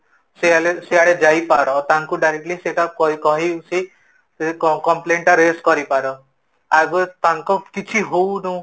ସେଇ ସେଇ ଆଡେ ଯାଇ ପର ତାଙ୍କୁ ସେଟା directly କ କହି କି ସେ complain ଟା raise କରି ପାର, ଆଜି ତାଙ୍କ କିଛି ହଉଣୁ